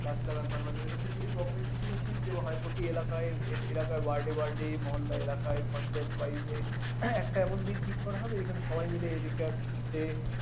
গাছ লাগানো টা কে এরকম যদি govt. থেকে নোটিশ দেয়া হয় প্রতি এলাকায় word এ word এ মহল্লায় এলাকায় পঞ্চায়েত একটা এমন দিন ঠিক করা হবে যেখানে সবাই মিলে এদিককার যে